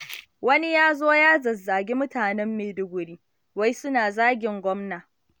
Wani ya zo ya zazzagi mutanen Maiduguri, wai suna zagin gwamna.